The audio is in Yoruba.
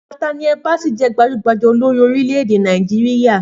Nathaniel Bassey je gbajúgbajà olorin orílẹ̀-èdè Nàìjíríà